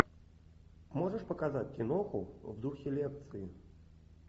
можешь показать киноху в духе лекции